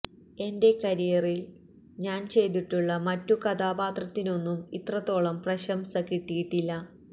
എൻ്റെ കരിയറിൽ ഞാൻ ചെയ്തിട്ടുള്ള മറ്റു കഥാപാത്രത്തിനൊന്നും ഇത്രത്തോളം പ്രശംസ കിട്ടിയിട്ടില്ല